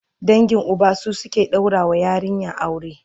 dangin Uba su suke ɗaura wa yarinya aure